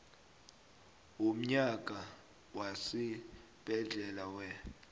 womnyaka wesibhedlela wer